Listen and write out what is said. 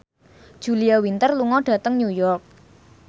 Julia Winter lunga dhateng New York